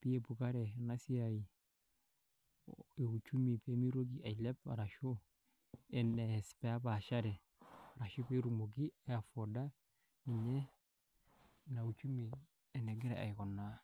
peeupukare ena siai e uchumi pee mitoki ailep arashu, eneas pee epaashare, ashu pee etumoki aiavoida ninye inia uchumi enekira aikunaa.